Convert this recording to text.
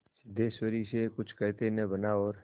सिद्धेश्वरी से कुछ कहते न बना और